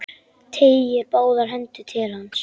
Teygir báðar hendur til hans.